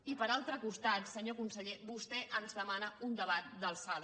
i per altre costat senyor conseller vostè ens demana un debat d’alçada